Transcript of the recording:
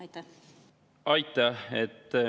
Aitäh!